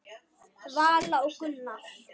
Vala og Gunnar.